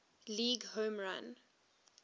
league home run